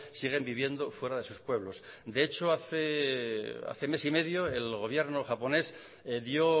siguen viviendo fuera de sus pueblos de hecho hace mes y medio el gobierno japonés dio